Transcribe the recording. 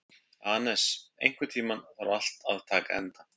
Anes, einhvern tímann þarf allt að taka enda.